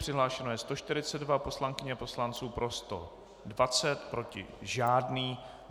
Přihlášeno je 142 poslankyň a poslanců, pro 120, proti žádný.